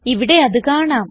ഇവിടെ അത് കാണാം